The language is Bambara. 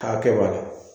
K'a kɛ b'a la